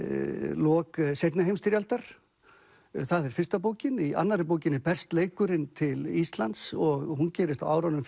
lok seinni heimsstyrjaldar það er fyrsta bókin í annarri bókinni berst leikurinn til Íslands og hún gerist á árunum